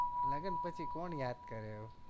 લગન પછી કોણ યાદ કરે